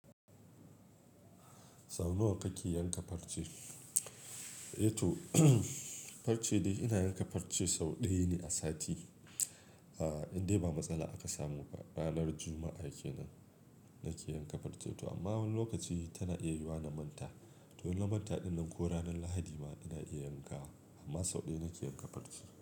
Sau nawa kake yanka farce? Eh to farce dai ina yanka farce sau ɗaya ne a sati. A a indai ba matsala aka samu ba. Ranar Juma'a kenan, nake yanka farce to amma wani lokaci tana iya yiwa na manta. To in manta ɗin nan, ko ranar Lahadi ina iya yanka, amman sau ɗaya nake iya yankan farce.